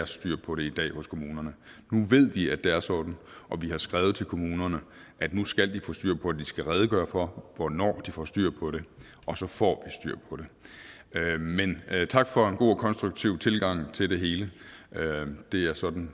styr på det i dag hos kommunerne nu ved vi at det er sådan og vi har skrevet til kommunerne at nu skal de få styr på det skal redegøre for hvornår de får styr på det og så får styr på det men tak for en god og konstruktiv tilgang til det hele det er sådan